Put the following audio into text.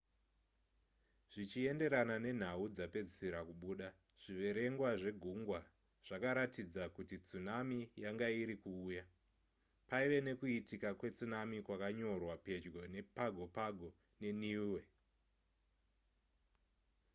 zvichienderana nenhau dzapedzisira kubuda zviverengwa zvegungwa zvakaratidza kuti tsunami yanga irikuuya paive nekuitika kwetsunami kwakanyorwa pedyo nepago pago neniue